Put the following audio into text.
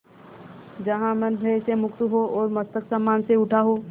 जहाँ मन भय से मुक्त हो और मस्तक सम्मान से उठा हो